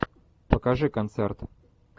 покажи концерт